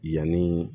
Yanni